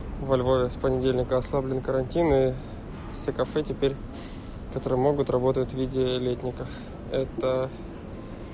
во львове с понедельника ослаблен картин и все кафе теперь которые могут работают в виде летников это